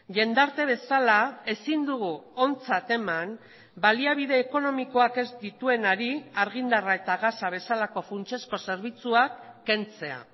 jendarte bezala ezin dugu ontzat eman baliabide ekonomikoak ez dituenari argindarra eta gasa bezalako funtsezko zerbitzuak kentzea